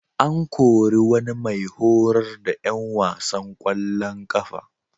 An kori wani mai horar da ƴan wasan ƙwallon ƙafa.